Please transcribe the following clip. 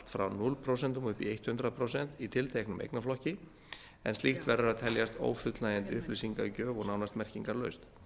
frá núll prósent og upp í hundrað prósent í tilteknum eignaflokki en slíkt verður að teljast ófullnægjandi upplýsingagjöf og nánast merkingarlaust